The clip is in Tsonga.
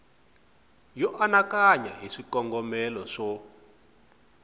yo anakanya hi swikongomelo swo